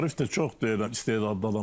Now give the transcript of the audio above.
Arif də çox istedadlı adamdır.